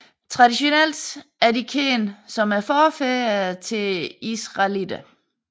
Traditionelt er de kendt som forfædrene til israelitterne